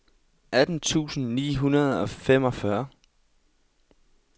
atten tusind ni hundrede og femogfyrre